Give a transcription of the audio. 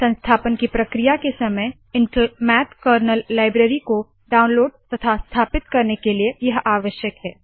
संस्थापन की प्रक्रिया के समय इंटेल मैथ कर्नल लाइब्रेरी को डाउनलोड तथा स्थापित करने के लिए यह आवश्यक है